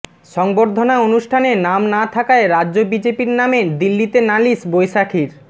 সংবর্ধনা অনুষ্ঠানে নাম না থাকায় রাজ্য বিজেপির নামে দিল্লিতে নালিশ বৈশাখীর